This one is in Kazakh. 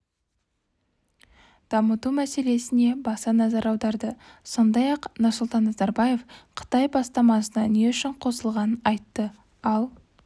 дамыту мәселесіне баса назар аударды сондай-ақ нұрсұлтан назарбаев қытай бастамасына не үшін қосылғанын айтты ал